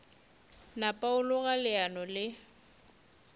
napa a loga leano le